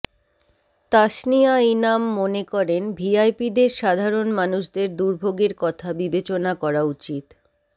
তাসনিয়া ইনাম মনে করেন ভিআইপিদের সাধারণ মানুষদের দুর্ভোগের কথা বিবেচনা করা উচিত